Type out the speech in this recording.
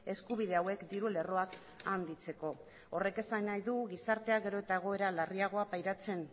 eskubide hauek diru lerroak handitzeko horrek esan nahi du gizartea gero eta egoera larriagoa pairatzen